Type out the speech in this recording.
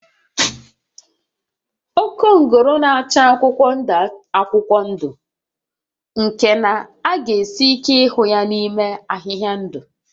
Okongolo na-acha akwụkwọ ndụ akwụkwọ ndụ nke na ọ ga esi ike ịhụ ya n'ime ahịhịa ndụ